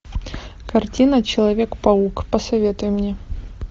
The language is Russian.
картина человек паук посоветуй мне